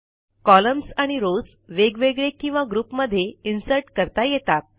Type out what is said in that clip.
columns आणि rows वेगवेगळे किंवा ग्रुपमध्ये इन्सर्ट करता येतात